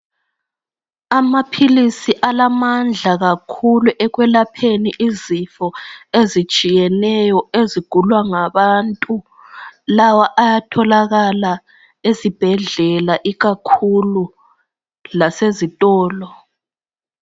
Amaphilisi alamandla kakhulu ekwelapheni izifo ezitshiyeneyo ezigulwa ngabantu, lawa ayatholakala ezibhedlela ikakhulu lasezitolo.